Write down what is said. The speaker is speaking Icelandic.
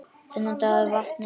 Þennan dag við vatnið.